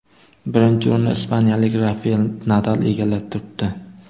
Birinchi o‘rinni ispaniyalik Rafael Nadal egallab turibdi.